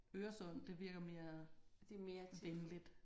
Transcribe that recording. Øresund det virker mere venligt